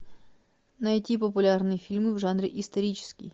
найти популярные фильмы в жанре исторический